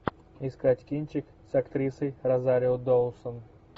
искать кинчик с актрисой розарио доусон